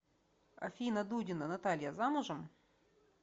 афина дудина наталья замужем